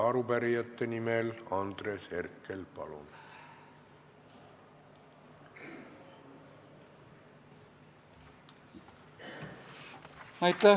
Arupärijate nimel Andres Herkel, palun!